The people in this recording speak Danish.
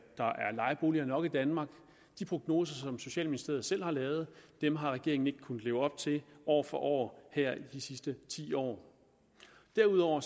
lejeboliger nok i danmark de prognoser som socialministeriet selv har lavet har regeringen ikke kunnet leve op til år for år her i de sidste ti år derudover